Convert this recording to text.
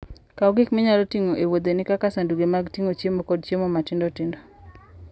Bed gi gik minyalo tigo e wuodheni kaka sanduge mag ting'o chiemo kod chiemo matindo tindo.